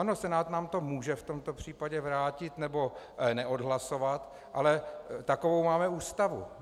Ano, Senát nám to může v tomto případě vrátit nebo neodhlasovat, ale takovou máme Ústavu.